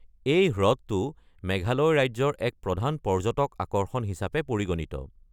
এই হ্ৰদটো মেঘালয় ৰাজ্যৰ এক প্ৰধান পৰ্যটক আকৰ্ষণ হিচাপে পৰিগণিত।